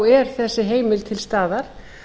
er þessi heimild til staðar